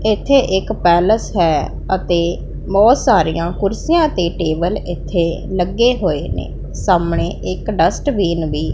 ਇੱਥੇ ਇੱਕ ਪੈਲਸ ਹੈ ਅਤੇ ਬਹੁਤ ਸਾਰੀਆਂ ਕੁਰਸੀਆਂ ਤੇ ਟੇਬਲ ਇੱਥੇ ਲੱਗੇ ਹੋਏ ਨੇ ਸਾਹਮਣੇ ਇੱਕ ਡਸਟਬੀਨ ਵੀ --